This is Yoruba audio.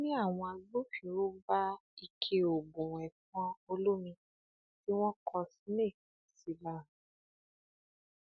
ó ní àwọn agbófinró bá ike oògùn ẹfọn olómi tí wọn kọ snake sí lára